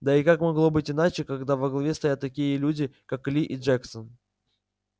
да и как могло быть иначе когда во главе стоят такие люди как ли и джексон